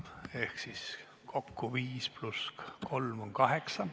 Ehk siis 5 + 3 on kokku 8.